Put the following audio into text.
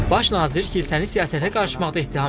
Baş nazir kilsəni siyasətə qarışmaqda ittiham edir.